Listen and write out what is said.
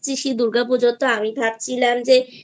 দুর্গা পুজোতে আমি ভাবছিলাম